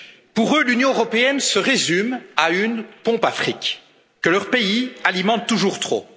Pour eux, l'Union européenne se résume à une pompe à fric que leur pays alimente toujours trop.